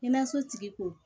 Kɛnɛyaso tigi kun